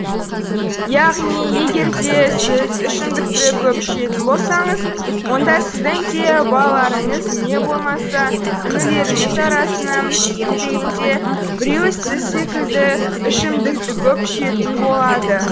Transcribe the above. яғни егерде сіз ішімдікті көп ішетін болсаңыз онда сіздің де балаларыңыз не болмаса інілеріңіз арасынан кем дегенде біреуі сіз секілді ішімдікті көп ішетін болады